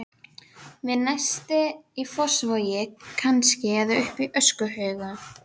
Við Nesti í Fossvogi kannski, eða uppi á öskuhaugum.